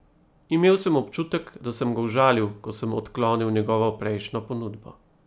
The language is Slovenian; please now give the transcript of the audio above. Imel sem občutek, da sem ga užalil, ko sem odklonil njegovo prejšnjo ponudbo.